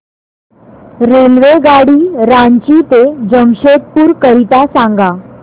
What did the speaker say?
रेल्वेगाडी रांची ते जमशेदपूर करीता सांगा